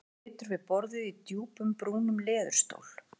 Hann situr við borðið í djúpum brúnum leðurstól.